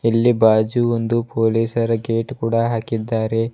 ಇಲ್ಲಿ ಬಾಜು ಒಂದು ಪೋಲಿಸರ ಗೇಟ್ ಕೂಡ ಹಾಕಿದ್ದಾರೆ.